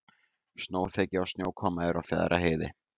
Snjóþekja og snjókoma er á Fjarðarheiði